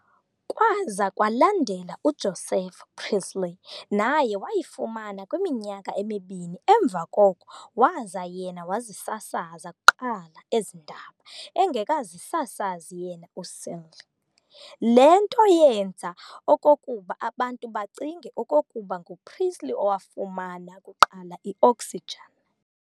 Kwaza kwalandela uJoseph Priestley naye wayifumana kwiminyaka emibini emva koko waza yena wazisasaza kuqala ezi ndaba engekazisasazi yena uScheele. Le nto yenza okokuba abantu bacinge okokuba nguPriestley owafumana kuqala i-oxygen.